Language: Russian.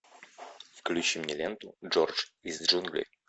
включи мне ленту джордж из джунглей